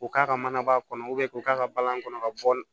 K'u k'a ka manaba kɔnɔ k'u k'a ka balani kɔnɔ ka bɔ